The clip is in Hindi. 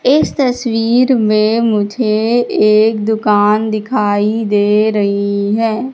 इस तस्वीर मे मुझे एक दुकान दिखाई दे रही है।